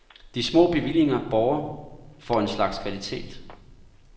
De små bevillinger borger for en slags kvalitet.